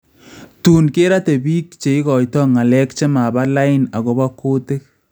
Tuun kerate biik cheikoita ng�alek chemaba lain akopo kuutik